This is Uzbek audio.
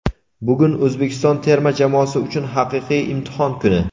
Bugun - O‘zbekiston terma jamoasi uchun haqiqiy imtihon kuni.